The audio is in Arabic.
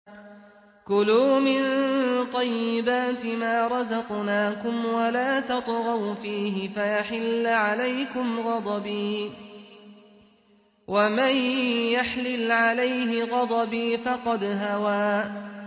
كُلُوا مِن طَيِّبَاتِ مَا رَزَقْنَاكُمْ وَلَا تَطْغَوْا فِيهِ فَيَحِلَّ عَلَيْكُمْ غَضَبِي ۖ وَمَن يَحْلِلْ عَلَيْهِ غَضَبِي فَقَدْ هَوَىٰ